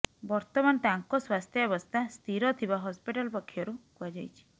ବର୍ତ୍ତମାନ ତାଙ୍କ ସ୍ୱାସ୍ଥ୍ୟାବସ୍ଥା ସ୍ଥିର ଥିବା ହସ୍ପିଟାଲ ପକ୍ଷରୁ କୁହାଯାଇଛି